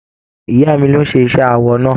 Ìyá mí ló n ṣe iṣẹ awọ náà.